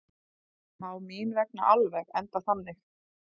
Selfoss komst þar með tímabundið úr fallsæti.